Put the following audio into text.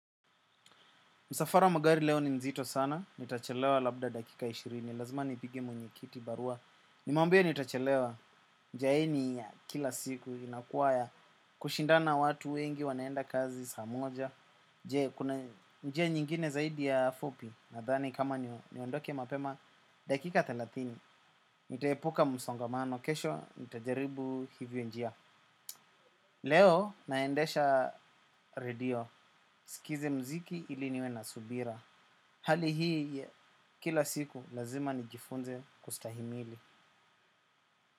Msafara wa magari leo ni nzito sana, nitachelewa labda dakika ishirini lazima nipigie mwenyekiti barua. Nimwambie nitachelewa jaini ya kila siku, inakuwa ya kushindana watu wengi wanaenda kazi saa moja je, kuna njia nyingine zaidi ya fupi, nadhani kama niondoke mapema, dakika thelathini ntaepuka msongamano kesho, nitajaribu hivyo njia. Leo, naendesha radio, sikize mziki ili niwe na subira. Hali hii kila siku lazima nijifunze kustahimili.